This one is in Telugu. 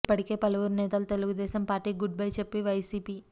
ఇప్పటికే పలువురు నేతలు తెలుగుదేశం పార్టీ కి గుడ్ బై చెప్పి వైసీపీ